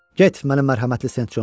Get, mənim mərhəmətli Sent Conum.